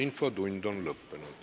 Infotund on lõppenud.